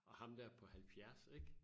Og ham dér på 70 ik?